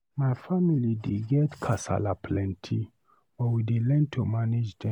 My family dey get kasala plenty, but we dey learn to manage dem.